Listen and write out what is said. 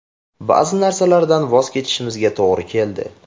Ba’zi narsalardan voz kechishimizga to‘g‘ri keldi.